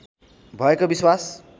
भएको विश्वास